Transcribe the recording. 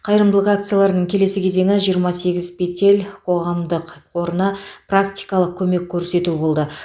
қайырымдылық акцияларының келесі кезеңі жиырма сегіз петель қоғамдық қорына практикалық көмек көрсету болды